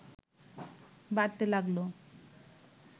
বাড়তে লাগল